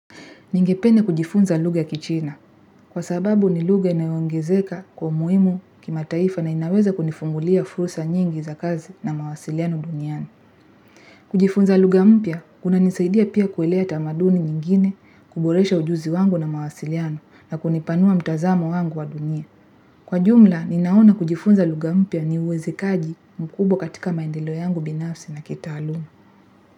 Ningepende kujifunza lugha ya kichina, kwa sababu ni lugha inayoongezeka kwa muimu kimataifa na inaweza kunifungulia furusa nyingi za kazi na mawasiliano duniani. Kujifunza lugha mpya, kunanisaidia pia kuelea tamaduni nyingine kuboresha ujuzi wangu na mawasiliano na kunipanua mtazamo wangu wa dunia. Kwa jumla, ninaona kujifunza lugha mpya ni uwezekaji mkubwa katika maendeleo yangu binafsi na kitaalumu.